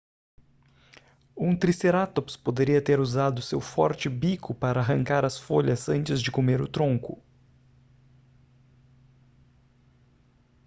um tricerátops poderia ter usado seu forte bico para arrancar as folhas antes de comer o tronco